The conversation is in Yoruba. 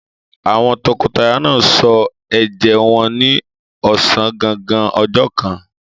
Àwọn tọkọtaya náà sọ ẹ̀jẹ́ wọn ní ọ̀sán gangan ọjọ́ kan.